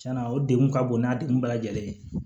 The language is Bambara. Tiɲɛna o degun ka bon n'a degun bɛɛ lajɛlen ye